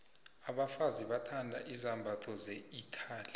abafazi bathanda izambatho ze italy